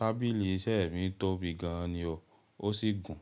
Tábìlì iṣẹ́ mi tóbi gan an ni o, ó sì gùn.